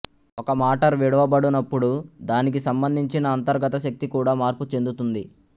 ఒక మాటర్ విడవ బడునప్పుడు దానికి సబందించిన అంతర్గత శక్తి కూడా మార్పు చెందుతుంది